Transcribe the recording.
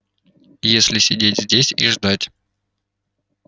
и если сидеть здесь и ждать